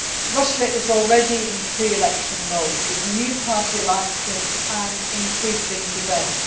Russia is already in pre election mode, with new party alliances and increasing debate.